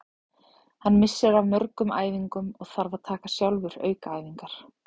Hann missir af mörgum æfingum og þarf að taka sjálfur aukaæfingar.